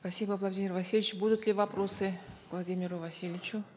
спасибо владимир васильевич будут ли вопросы владимиру васильевичу